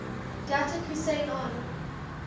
datuk hussein onn